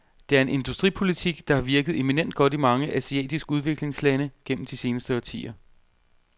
Det er en industripolitik, der har virket eminent godt i mange asiatiske udviklingslande gennem de senere årtier.